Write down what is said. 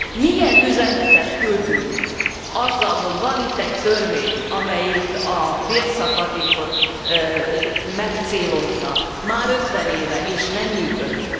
Milyen üzenetet küldünk azzal, hogy van itt egy törvény, amelyik a bérszakadékot megcélozza már ötven éve, és nem működik?